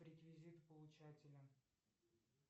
реквизиты получателя